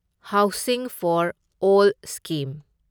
housing for all scheme